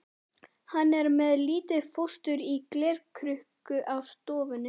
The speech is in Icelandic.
Hann er með lítið fóstur í glerkrukku á stofunni.